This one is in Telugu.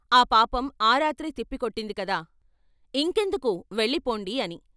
ఆ పాపం ఆ రాత్రే తిప్పికొట్టింది కదా, ఇంకెందుకు వెళ్ళిపొండి ' అని.